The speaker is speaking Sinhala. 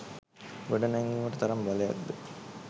ගොඩනැංවීමට තරම් බලයක් ද